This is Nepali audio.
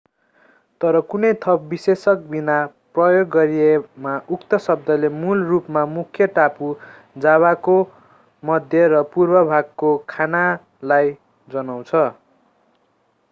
तर कुनै थप विशेषक बिना प्रयोग गरिएमा उक्त शब्दले मूल रूपमा मुख्य टापु जाभाको मध्य र पूर्वी भागको खानालाई जनाउँछ